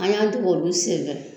An y'an dege olu sen fɛ